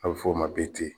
A bɛ f'o ma btɛ